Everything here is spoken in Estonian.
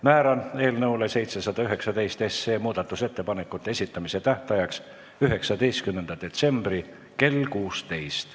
Määran eelnõu 719 muudatusettepanekute esitamise tähtajaks 19. detsembri kell 16.